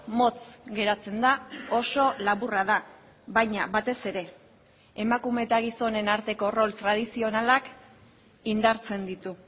motz geratzen da oso laburra da baina batez ere emakume eta gizonen arteko rol tradizionalak indartzen ditu